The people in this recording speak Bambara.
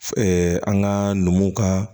an ka numuw ka